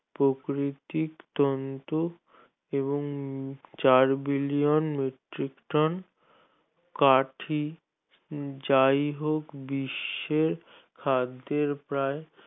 প্রকৃতিক তন্ধু এবং চার billion metric ton কাঠি যাইহোক বিশ্বের খাদ্যের প্রায়